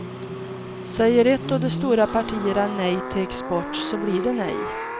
Säger ett av de stora partierna nej till export så blir det nej.